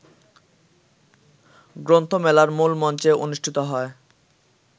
গ্রন্থমেলার মূলমঞ্চে অনুষ্ঠিত হয়